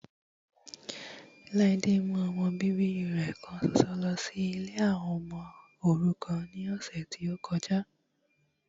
Ladé mú ọmọ bíbí rẹ kan ṣoṣo lọ sí ilé àwọn ọmọ òrukàn ní ọ̀sẹ̀ tí ó kọjá